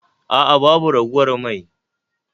A'a babu ragowar mai